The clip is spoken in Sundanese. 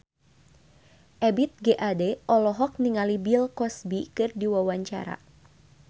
Ebith G. Ade olohok ningali Bill Cosby keur diwawancara